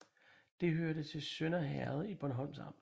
Det hørte til Sønder Herred i Bornholms Amt